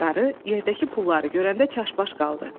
Qarı yerdəki pulları görəndə çaşbaş qaldı.